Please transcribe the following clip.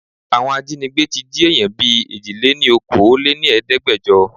Àwọn ajínígbé tí jí èèyàn bìí Èjìléníokòóléníẹ̀ẹ́dẹ́gbẹjo.